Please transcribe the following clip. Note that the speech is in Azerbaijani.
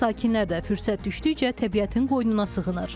Yerli sakinlər də fürsət düşdükcə təbiətin qoynuna sığınır.